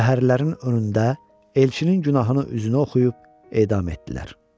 Şəhərlərin önündə elçinin günahını üzünə oxuyub edam etdilər.